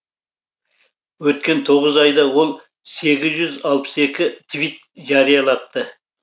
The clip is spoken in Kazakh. өткен тоғыз айда ол сегіз жүз алпыс екі твит жариялапты